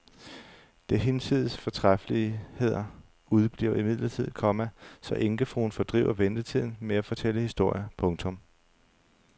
Det hinsides fortræffeligheder udebliver imidlertid, komma så enkefruen fordriver ventetiden med at fortælle historier. punktum